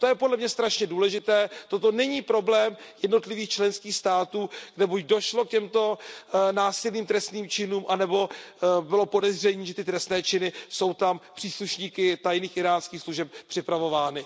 To je podle mne strašně důležité, toto není problém jednotlivých členských států, kde buď došlo k těmto násilným trestným činům, nebo bylo podezření, že ty trestné činy jsou tam příslušníky íránských tajných služeb připravovány.